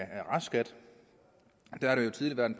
restskat